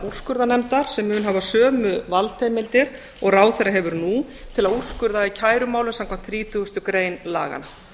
úrskurðarnefndar sem mun hafa sömu valdheimildir og ráðherra hefur nú til að úrskurða í kærumálum samkvæmt þrítugustu grein laganna